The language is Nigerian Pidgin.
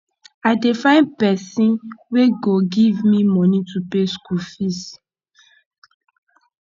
i dey find pesin wey go give me moni to pay school fees